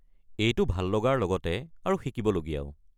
এইটো ভাল লগাৰ লগতে আৰু শিকিবলগীয়াও।